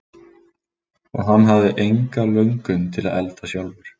Og hann hafði enga löngun til að elda sjálfur.